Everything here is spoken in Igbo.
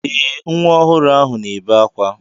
Ee, nwa ọhụrụ ahụ na-ebe akwa.